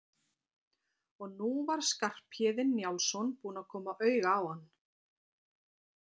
Og nú var Skarphéðinn Njálsson búinn að koma auga á hann.